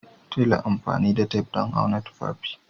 Tela amfani da tef don auna tufafi